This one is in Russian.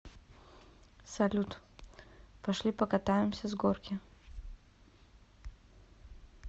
салют пошли покатаемся с горки